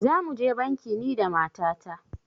Za mu je banki ni da mata ta